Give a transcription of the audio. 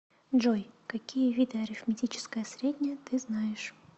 джой какие виды арифметическое среднее ты знаешь